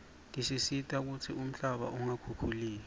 tisita kutsi umhlaba ungakhukhuleki